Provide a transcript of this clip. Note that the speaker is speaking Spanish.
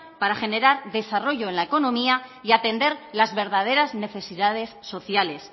para generar desarrollo en la economía y atender las verdaderas necesidades sociales